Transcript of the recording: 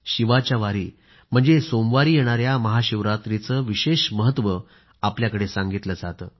शिवाच्या वारी म्हणजे सोमवारी येणाया महाशिवरात्रीचं विशेष महत्व आपल्याकडे सांगितलं जातं